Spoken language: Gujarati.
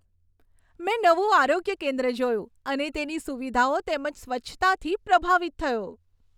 મેં નવું આરોગ્ય કેન્દ્ર જોયું અને તેની સુવિધાઓ તેમજ સ્વચ્છતાથી પ્રભાવિત થયો.